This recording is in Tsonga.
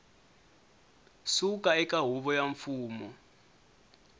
suka eka huvo ya mfumo